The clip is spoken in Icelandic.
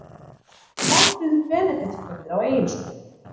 Málfríður Benediktsdóttir á Egilsstöðum